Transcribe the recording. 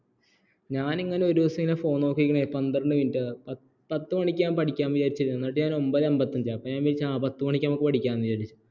ഞാൻ ഇങ്ങനെ ഒരു ദിവസം ഇങ്ങനെ phone നോക്കി ഇരിക്കണ പന്ത്രണ്ട് minit പത്ത് മണിക്ക് ഞാൻ പഠിക്കാം എന്ന് വിചാരിച്ചിരുന്നു എന്നിട്ട് ഞാൻഒൻപത് അൻപത്തഞ്ച് ആയി അപ്പോ ഞാൻ വിചാരിച്ചു ആ പത്ത് മണിക്ക് നമുക്ക് പഠിക്കാം വിചാരിച്ചു